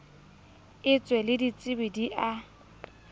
etswe le ditsebi di a